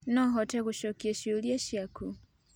No hote gũcokia ciũria ciaku